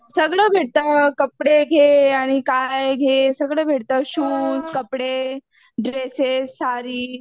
सगळं भेटतं कपडे घे आणि काय घे सगळं भेटतं. शूज, कपडे, ड्रेसेस साडी.